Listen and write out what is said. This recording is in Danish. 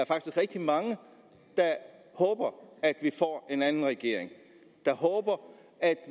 rigtig mange der håber at vi får en anden regering der håber at